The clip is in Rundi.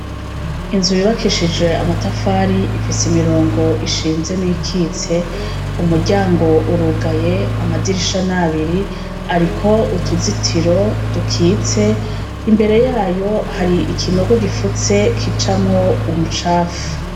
Inzu yubakishijwe amatafari ifise imirongo ishinze n'iyikitse. Umuryango urugaye, amadirisha n'abiri ariko utuzitiro dukitse. Imbere yayo ikinogo gipfutse gicamwo umucafu.